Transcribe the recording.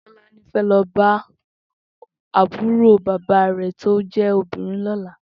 Tolani fè lò bá àbúró bàbá rè tó jè óbìnrín lòlá